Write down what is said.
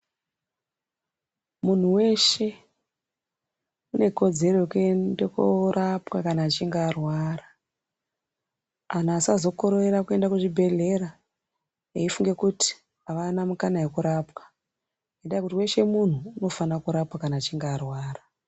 Munhu weshe une kodzero yekuende korapwa kana achinga arwara. Anhu asazokorera kuenda kuzvibhehlera eifunge kuti avana mukana yekurwapwa. Indaa yekuti weshe munhu unofanirwe kurwapwa kana achinga arwara.